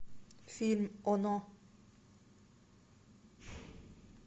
фильм оно